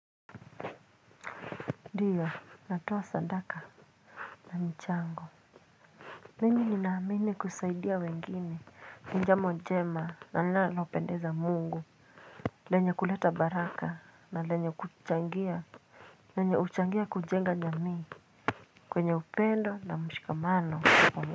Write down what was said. Ndiyo natoa sadaka na mchango mimi ninaamini kusaidia wengine jambo njema na linalo pendeza Mungu lenye kuleta baraka na lenye kuchangia lenye huchangia kunjenga jamii kwenye upendo na mshikamano.